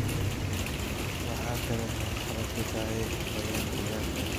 Waxa kale oo ay caqabad ku tahay habayntan gaarka ah.